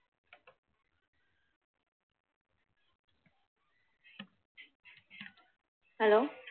hello